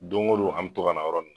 Don ko don an mi to ka na a yɔrɔ nunnu na